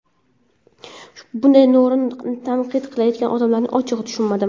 Bunday noo‘rin tanqid qilayotgan odamlarni ochig‘i tushunmadim”.